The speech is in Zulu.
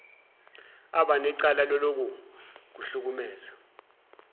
abanecala lalokhu kuhlukumeza